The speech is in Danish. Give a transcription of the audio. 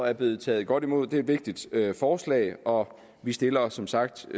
er blevet taget godt imod det er et vigtigt forslag og vi stiller os som sagt som